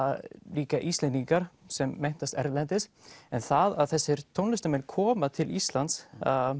líka Íslendingar sem menntast erlendis en það að þessir tónlistarmenn koma til Íslands